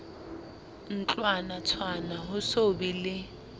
ntlwanatshwana ho so be le